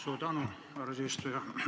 Suur tänu, härra eesistuja!